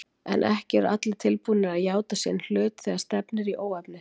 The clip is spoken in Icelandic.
En ekki eru allir tilbúnir að játa sinn hlut þegar stefnir í óefni.